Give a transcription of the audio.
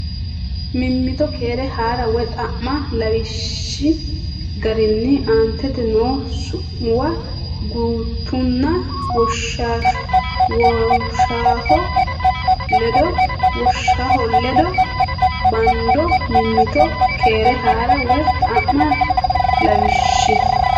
Mimmito keere haa ra woy xa ma lawishshi garinni aantete noo su muwa gutunna woshshoha ledo bando Mimmito keere haa ra woy xa ma lawishshi.